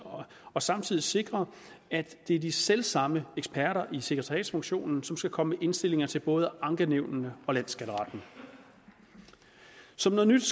og samtidig sikrer at det er de selv samme eksperter i sekretariatsfunktionen som skal komme indstillinger til både ankenævnene og landsskatteretten som noget nyt